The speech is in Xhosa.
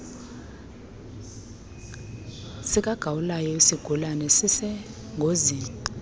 sikagawulayo isigulana sisengozini